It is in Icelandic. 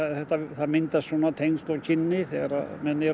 það myndast svona tengsl og kynni þegar menn eru